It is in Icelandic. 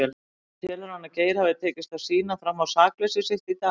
En telur hann að Geir hafi tekist að sýna fram á sakleysi sitt í dag?